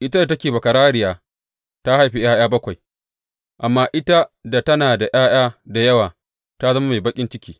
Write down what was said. Ita da take bakararriya, ta haifi ’ya’ya bakwai amma ita da tana da ’ya’ya da yawa, ta zama mai baƙin ciki.